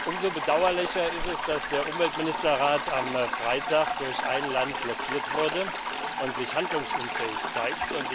Umso bedauerlicher ist es, dass der Umweltministerrat am Freitag durch ein Land blockiert wurde und sich handlungsunfähig zeigt.